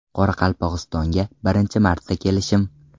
Qoraqalpog‘istonga birinchi marta kelishim.